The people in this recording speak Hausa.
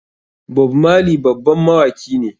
Bob marley babban mawaki ne.